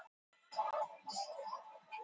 Ég grét og grét þar til ég gat ekki grátið meira.